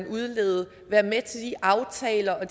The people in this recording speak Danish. udlede være med til de aftaler og